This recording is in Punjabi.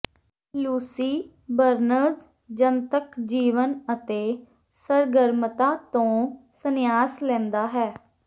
ਲੂਸੀ ਬਰਨਜ਼ ਜਨਤਕ ਜੀਵਨ ਅਤੇ ਸਰਗਰਮਤਾ ਤੋਂ ਸੰਨਿਆਸ ਲੈਂਦਾ ਹੈ